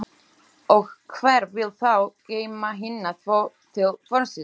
Og hver vill þá geyma hina tvo til vorsins?